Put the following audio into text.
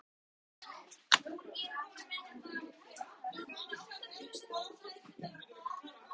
Ekki leið á löngu áður en